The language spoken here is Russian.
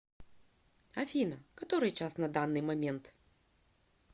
афина который час на данный момент